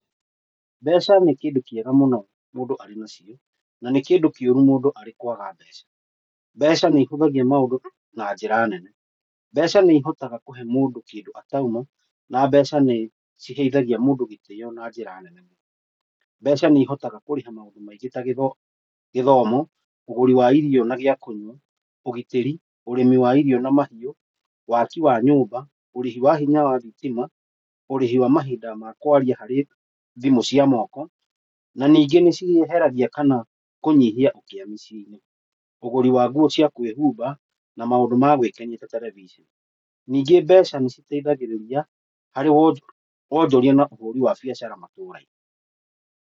Mbeca nĩ kĩndũ kĩega mũno mũndũ arĩ nacio, na nĩ kĩndũ kĩũru mũndũ arĩ kwaga mbeca. Mbeca nĩ ĩhũthagia maũndũ na njĩra nene. Mbeca nĩ ihotaga kũhe mũndũ kĩndũ atauma na mbeca nĩ ciheithagia mũndũ gĩtĩo na njĩra nene. Mbeca nĩ ihotaga kũrĩha maũndũ maingĩ ta gĩthomo, ũgũri wa irio na gĩa kũnywa, ũgitĩri, ũrĩmĩ wa irio na mahiu, waki wa nyũmba, ũrĩhi wa hinya wa thitima, ũrĩhi wa mahinda ma kwaria harĩ thimũ cia moko na ningĩ nĩ cieheragia kana kũnyihia ũkia mĩciĩ-inĩ. Ũgũri wa nguo cia kwĩhumba na maũndũ ma gwĩkenia ta telebiceni. Ningĩ mbeca nĩ citeithagĩrĩria harĩ wonjoria na ũhũri wa biacara matũũra-inĩ.